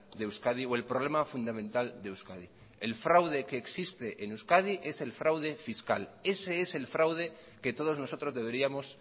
de euskadi o el problema fundamental de euskadi el fraude que existe en euskadi es el fraude fiscal ese es el fraude que todos nosotros deberíamos